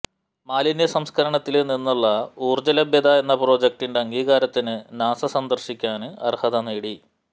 മാലിന്യ സംസ്കരണത്തില് നിന്നുള്ള ഊര്ജ്ജ ലഭ്യത എന്ന പ്രൊജക്ടിന്റെ അംഗീകാരത്തിന് നാസ സന്ദര്ശിക്കാന് അര്ഹത നേടി